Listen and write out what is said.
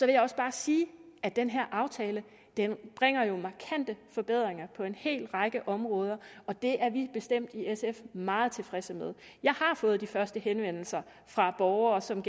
jeg også bare sige at den her aftale jo bringer markante forbedringer på en hel række områder og det er vi i bestemt meget tilfredse med jeg har fået de første henvendelser fra borgere som